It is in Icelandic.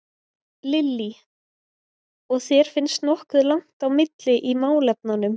Lillý: Og þér finnst nokkuð langt á milli í málefnunum?